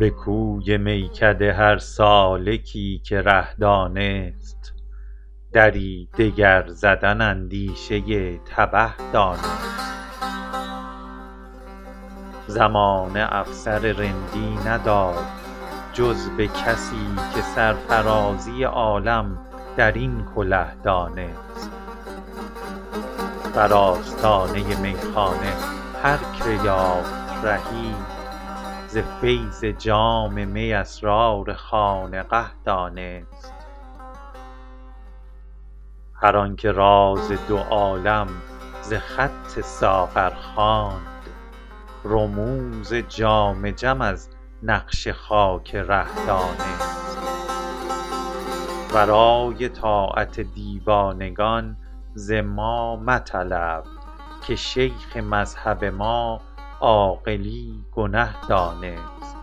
به کوی میکده هر سالکی که ره دانست دری دگر زدن اندیشه تبه دانست زمانه افسر رندی نداد جز به کسی که سرفرازی عالم در این کله دانست بر آستانه میخانه هر که یافت رهی ز فیض جام می اسرار خانقه دانست هر آن که راز دو عالم ز خط ساغر خواند رموز جام جم از نقش خاک ره دانست ورای طاعت دیوانگان ز ما مطلب که شیخ مذهب ما عاقلی گنه دانست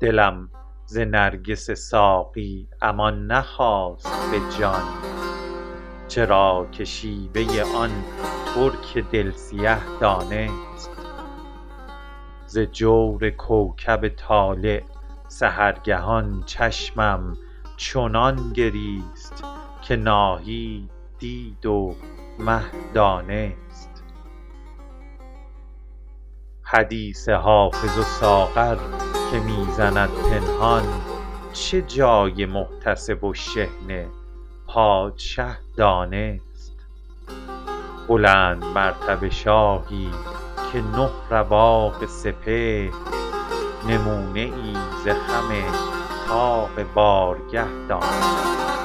دلم ز نرگس ساقی امان نخواست به جان چرا که شیوه آن ترک دل سیه دانست ز جور کوکب طالع سحرگهان چشمم چنان گریست که ناهید دید و مه دانست حدیث حافظ و ساغر که می زند پنهان چه جای محتسب و شحنه پادشه دانست بلندمرتبه شاهی که نه رواق سپهر نمونه ای ز خم طاق بارگه دانست